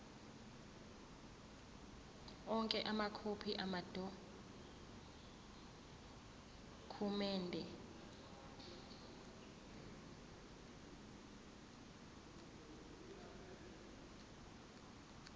onke amakhophi amadokhumende